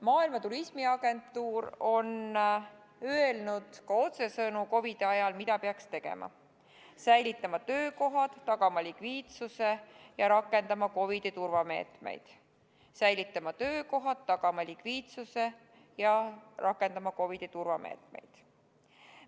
Maailma Turismiorganisatsioon on otsesõnu öelnud, mida peaks COVID-i ajal tegema: säilitama töökohad, tagama likviidsuse ja rakendama COVID-i turvameetmeid.